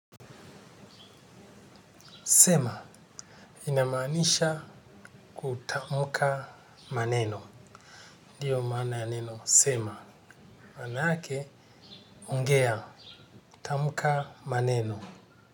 Sema ina maanisha kutamka maneno. Ndiyo maana ya neno sema. Manake ongea tamka maneno.